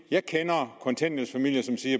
jeg kender kontanthjælpsfamilier som siger